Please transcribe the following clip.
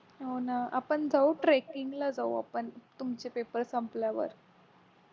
हो ना आपण जाऊ tracking ला जाऊ आपण तुमचे पेपर संपल्यावर